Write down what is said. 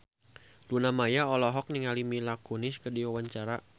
Luna Maya olohok ningali Mila Kunis keur diwawancara